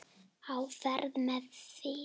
Á fætur með þig!